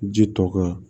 Ji tɔ kan